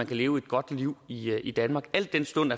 kan leve et godt liv i i danmark al den stund